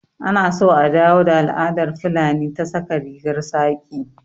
Anaso a dawo da al'adar fulani ta saka rigar saƙi